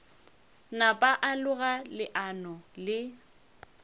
napa a loga leano le